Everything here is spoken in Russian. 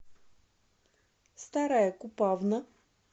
старая купавна